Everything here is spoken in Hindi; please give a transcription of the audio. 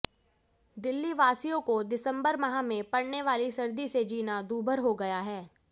दिल्लीवासियों को दिसंबर माह में पड़ने वाली सर्दी से जीना दुर्भर हो गया है